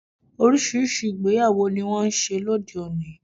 Oríṣiríṣi ìgbéyàwó ni wón n ṣe lóde oni